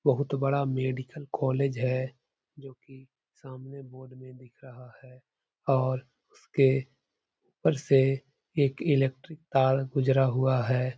बोहोत बड़ा medical college है जो कि सामने बोर्ड में दिख रहा है और उसके ऊपर से एक इलेक्ट्रिक तार गुजरा हुआ है।